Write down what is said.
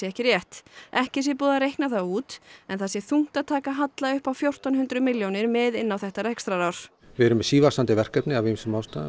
ekki rétt ekki sé búið að reikna það út en það sé þungt að taka halla upp á fjórtán hundruð milljónir með inn á þetta rekstrarár við erum sívaxandi verkefni af ýmsum ástæðum